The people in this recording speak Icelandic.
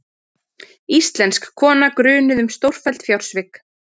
Íslensk kona grunuð um stórfelld fjársvik